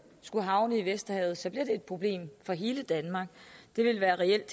skulle havne i vesterhavet så bliver det et problem for hele danmark det vil reelt